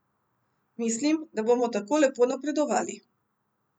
Mislim, da bomo tako lepo napredovali.